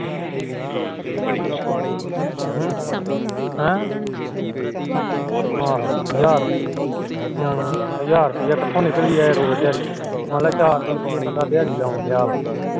ਹਜਾਰ ਕਿਥੋ ਨਿਕਲੀਏ ਰੋਜ ਦਿਹਾੜੀ ਮੰਨ ਲੈ ਚਾਰ ਸੋ ਰੁਪੀਆ ਬੰਦਾ ਦਿਹਾੜੀ ਲੋਂਡ ਰਿਹਾ ਆ